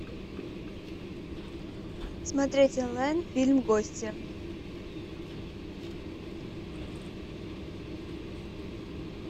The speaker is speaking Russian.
смотреть онлайн фильм гостья